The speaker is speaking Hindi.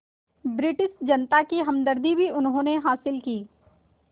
रिटिश जनता की हमदर्दी भी उन्होंने हासिल की